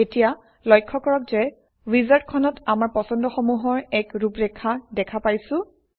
এতিয়া লক্ষ্য কৰক যে উইজাৰ্ডখনত আমাৰ পছন্দসমূহৰ এক ৰূপৰেখা দেখা পাইছোঁ